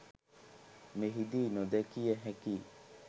මෙහිදී නොදැකිය හැකි